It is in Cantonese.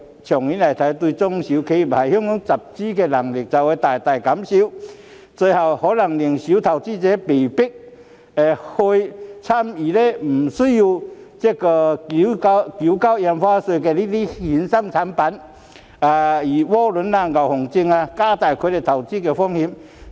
長遠來看，會大大降低中小企業在港集資的能力，最後更可能令小投資者被迫買賣不需要繳交印花稅的衍生產品，例如窩輪、牛熊證等，令他們的投資風險增加。